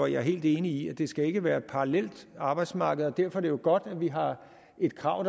jeg er helt enig i at det ikke skal være et parallelt arbejdsmarked og derfor er det jo godt at vi har et krav